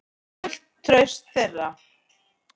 Fullt traust þeirra.